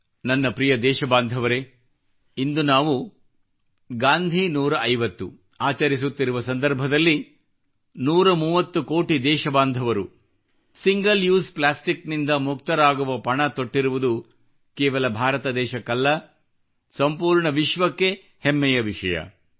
ನನ್ನ ಪ್ರಿಯ ದೇಶ ಬಾಂಧವರೇ ಇಂದು ನಾವು ಗಾಂಧೀ 150 ಆಚರಿಸುತ್ತಿರುವ ಸಂದರ್ಭದಲ್ಲಿ 130 ಕೋಟಿ ದೇಶಬಾಂಧವರು ಸಿಂಗಲ್ ಉಸೆ ಪ್ಲಾಸ್ಟಿಕ್ ನಿಂದ ಮುಕ್ತರಾಗುವ ಪಣ ತೊಟ್ಟಿರುವುದು ಕೇವಲ ಭಾರತ ದೇಶಕ್ಕಲ್ಲ ಸಂಪೂರ್ಣ ವಿಶ್ವಕ್ಕೆ ಹೆಮ್ಮೆಯ ವಿಷಯವಾಗಿದೆ